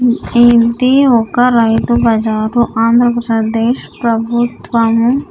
ఉమ్ ఇది ఒక రైతు బజారు ఆంధ్రప్రదేశ్ ప్రభుత్వము.